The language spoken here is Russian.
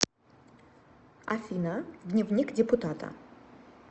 афина дневник депутата